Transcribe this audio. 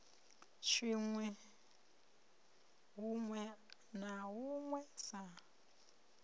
tshinwi huṋwe na huṋwe sa